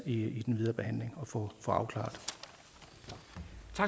i den videre behandling at få afklaret